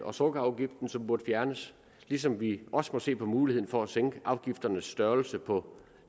og sukkerafgiften som burde fjernes ligesom vi også burde se på muligheden for at sænke afgifternes størrelse på